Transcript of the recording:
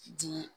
Di